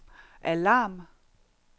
alarm